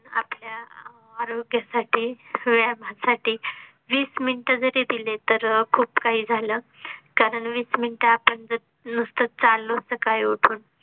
आपल्या आरोग्या साठी व्यायामा साठी वीस minute जरी दिले तरी खूप काही झालं कारण वीस minute आपण जर नुसताच चाललो सकाळी उठून